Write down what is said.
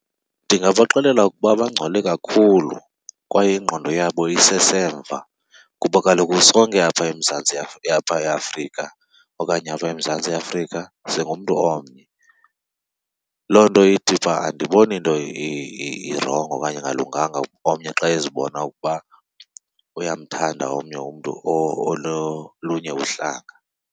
Ndingabaxelela ukuba bangcole kakhulu kwaye ingqondo yabo isesemva kuba kaloku sonke eMzantsi , apha eAfrika okanye apha eMzantsi Afrika singumntu omnye. Loo nto ithi uba andiboni nto irongo okanye engalunganga omnye xa ezibona ukuba uyamthanda omnye umntu ololunye uhlanga.